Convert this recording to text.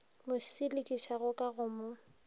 mo selekišago ka go mo